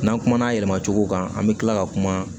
N'an kumana yɛlɛmacogo kan an bɛ kila ka kuma